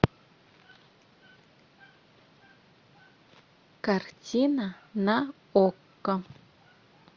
картина на окко